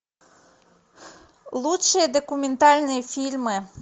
лучшие документальные фильмы